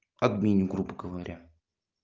админ грубо говоря